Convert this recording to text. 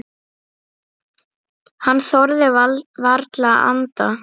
Hann þorði varla að anda.